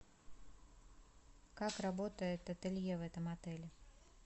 как работает ателье в этом отеле